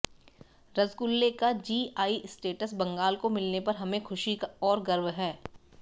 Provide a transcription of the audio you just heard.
रसगुल्ले का GI status Bengal को मिलने पर हमें खुशी और गर्व है